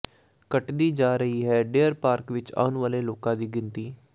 ਘਟਦੀ ਜਾ ਰਹੀ ਹੈ ਡੀਅਰ ਪਾਰਕ ਵਿੱਚ ਆਉਣ ਵਾਲੇ ਲੋਕਾਂ ਦੀ ਗਿਣਤੀ